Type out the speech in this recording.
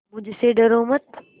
मुझसे डरो मत